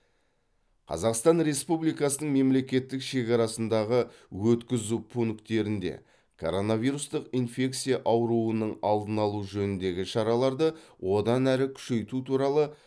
қазақстан республикасының мемлекеттік шекарасындағы өткізу пункттерінде коронавирустық инфекция ауруының алдын алу жөніндегі шараларды одан әрі күшейту туралы